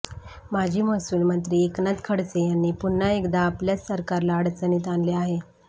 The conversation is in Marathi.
माजी महसूलमंत्री एकनाथ खडसे यांनी पुन्हा एकदा आपल्याच सरकारला अडचणीत आणले आहे